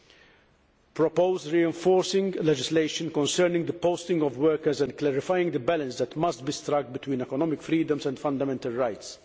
we will propose reinforcing legislation concerning the posting of workers and clarifying the balance that must be struck between economic freedoms and fundamental rights